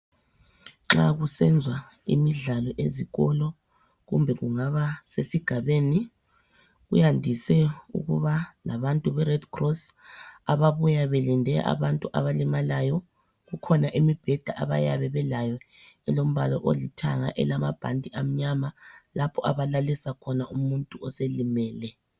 Nxa kusenziwa imidlalo ezikolo kumbe kungaba sesigabeni kuyandise ukuba labantu bered cross ababuya belinde abantu abalimalayo kukhona imibheda abayabe belayo elombala olithanga elamabhanti amanyama lapho abalalisa khona umuntu oselimele.